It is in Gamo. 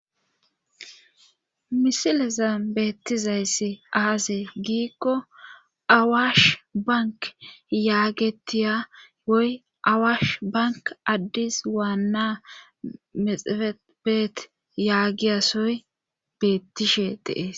Misileza beettizayssi aase giikko awaash bank yaagetiya woy awaash bank addis waanna mexefebeet yaagiyasoy beettishe deees